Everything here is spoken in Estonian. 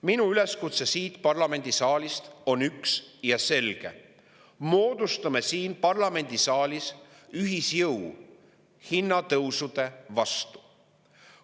Minu üleskutse siit parlamendisaalist on üks ja selge: moodustame siin ühisjõu hinnatõusude vastu.